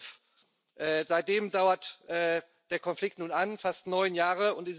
2011. Seitdem dauert der Konflikt nun an fast neun Jahre.